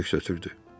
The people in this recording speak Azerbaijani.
Kiber köks ötürdü.